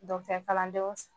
Dɔkitɛri kalandenw